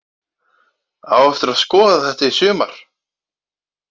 Á eftir að skoða þetta í sumar!!!